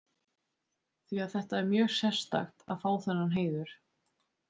Því að þetta er mjög sérstakt að fá þennan heiður.